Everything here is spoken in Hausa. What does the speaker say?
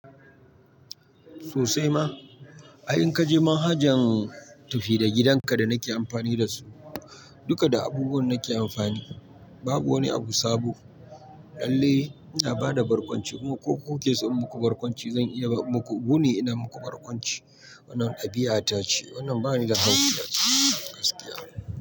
Sosai ma, ai in ka je manhajan tafi da gidanka da nake amfani da su, duka da abubuwan nake amfani, babu wani abu sabo. Lalle ina ba da barkwanci ko ku ke so in muku barkwanci, zan iya muku. Wuni ina muku barkwanci. Wannan ɗabi'a ta ce. Wannan bani da haihuwa. Gaskiya ne.